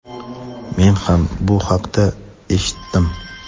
men ham bu haqda eshitdim.